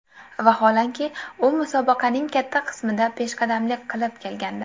Vaholanki, u musobaqaning katta qismida peshqadamlik qilib kelgandi.